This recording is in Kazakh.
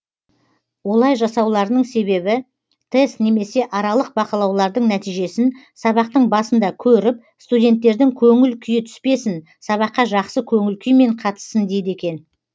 олай жасауларының себебі тест немесе аралық бақылаулардың нәтижесін сабақтың басында көріп студенттердің көңіл күйі түспесін сабаққа жақсы көңіл күймен қатыссын дейді екен